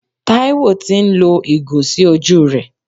Taiwo tì ń lo ìgò sí ojú rẹ.